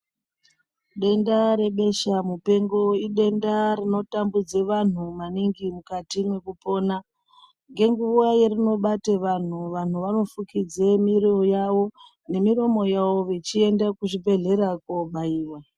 Denda rebeshamupengo idenda rinotambudza vanhu maningi mukati mwekupona. Ngenguwa yerinobate antu nanhu vanofukidze miro yavo nemiromo yavo vechiende kuzvibhedhlera koobaiwa.